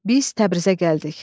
Biz Təbrizə gəldik.